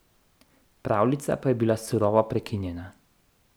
Pravljica pa je bila surovo prekinjena.